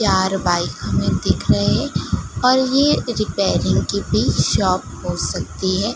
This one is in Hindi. चार बाइक हमें दिख रहे है और ये रिपेयरिंग की भी शॉप हो सकती है।